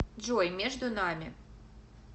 джой между нами